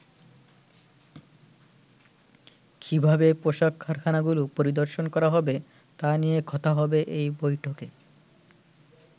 কিভাবে পোশাক কারখানাগুলো পরিদর্শন করা হবে তা নিয়ে কথা হবে এই বৈঠকে।